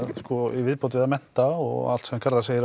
í viðbót við að mennta og allt sem Garðar segir